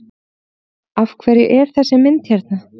Af hverju er þessi mynd hérna?